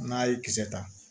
N'a ye kisɛ ta